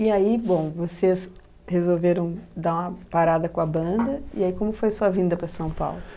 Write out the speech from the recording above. E aí, bom, vocês resolveram dar uma parada com a banda, e aí como foi sua vinda para São Paulo?